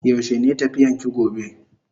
Yaushe ne tafiyan ki gobe?